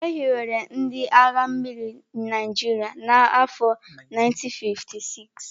E hiwere ndị agha mmiri Naịjirịa n'afọ 1956.